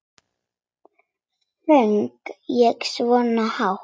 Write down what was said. Söng ég svona hátt?